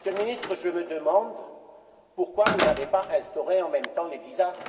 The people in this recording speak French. Monsieur le Ministre, je me demande pourquoi vous n'avez pas instauré, en même temps, les visas.